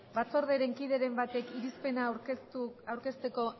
batzorderen kideren batek irizpena aurkezteko